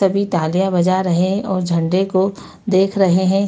सभी तालियाँ बजा रहें हैं और झंडे को देख रहें हैं।